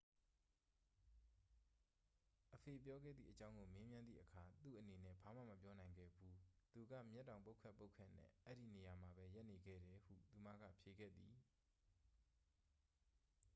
"အဖေပြောခဲ့သည့်အကြောင်းကို မေးမြန်းသည့်အခါ "သူ့အနေနဲ့ ဘာမှ မပြောနိုင်ခဲ့ဘူး - သူက မျက်တောင်ပုတ်ခတ်ပုတ်ခတ်နဲ့ အဲဒီနေရာမှာပဲ ရပ်နေခဲ့တယ်" ဟု သူမက ဖြေခဲ့သည်။